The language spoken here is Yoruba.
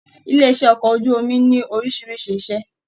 Ilé iṣẹ okọ̀ ojú omi ní orísìírísìí ise.